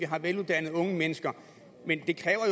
har veluddannede mennesker men